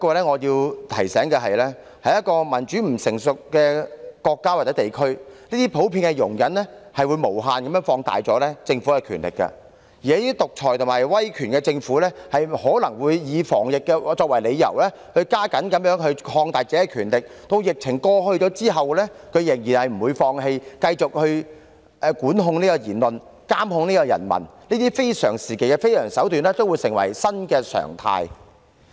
可是，我想提醒大家，在一個民主制度不成熟的國家或地區，這種普遍的容忍會無限放大政府的權力，而這些獨裁及威權政府可能會以防疫作為理由，加緊擴大自己的權力，待疫情過去後仍不放棄，繼續管控言論、監控人民，讓這些非常時期的非常手段成為新常態。